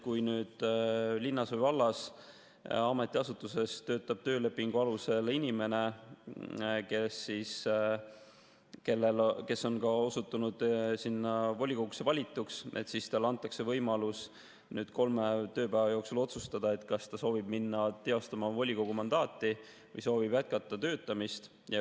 Kui linna või valla ametiasutuses töötab töölepingu alusel inimene, kes on osutunud volikogusse valituks, siis talle antakse võimalus kolme tööpäeva jooksul otsustada, kas ta soovib minna teostama volikogu mandaati või ta soovib jätkata töötamist.